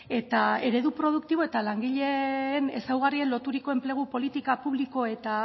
eta eredu produktibo eta langileen ezaugarriei loturiko enplegu politika publiko eta